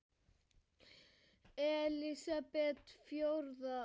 Elísabet: Fjórða?